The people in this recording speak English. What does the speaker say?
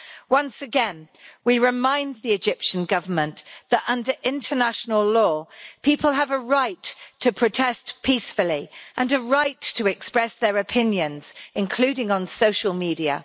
Once again we remind the Egyptian Government that under international law people have a right to protest peacefully and a right to express their opinions, including on social media.